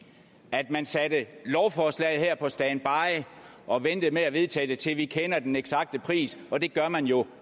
at man satte lovforslaget her på standby og ventede med at vedtage det til vi kender den eksakte pris og det gør man jo